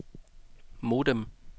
modem